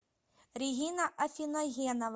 регина афиногенова